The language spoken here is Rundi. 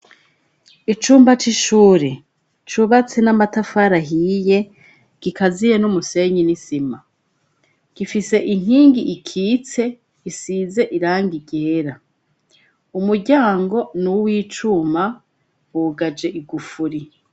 Icumba c'ishure cubatse n'amatafarahiye gikaziye n'umusenyi n'isima, gifise inkingi ikitse isize irangiryera umuryango nuwi icuma bugaje igufuri.